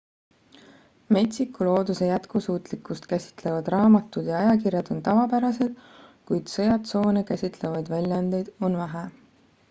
metsiku looduse jätkusuutlikkust käsitlevad raamatud ja ajakirjad on tavapärased kuid sõjatsoone käsitlevaid väljaandeid on vähe